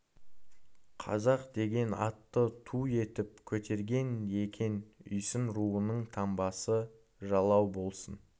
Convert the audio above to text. қазақ деген атты ту етіп көтерген екен үйсін руының таңбасы жалау болсын